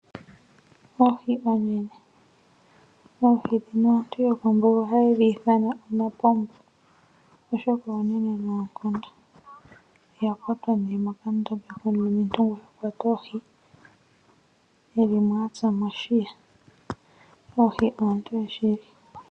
Oohi oonene Oohi ndhino aantu yokombuga ohaye dhi ithana omapombo, oshoka onene noonkondo. Oya kwatwa mokandombe komulumentu ngono ha kwata oohi e li mo a tsa mo oshiya. Oohi oontoye shili.